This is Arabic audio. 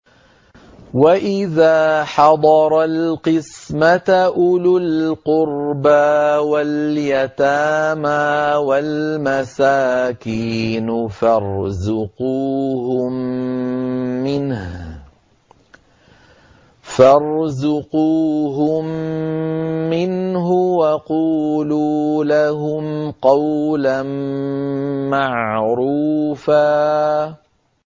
وَإِذَا حَضَرَ الْقِسْمَةَ أُولُو الْقُرْبَىٰ وَالْيَتَامَىٰ وَالْمَسَاكِينُ فَارْزُقُوهُم مِّنْهُ وَقُولُوا لَهُمْ قَوْلًا مَّعْرُوفًا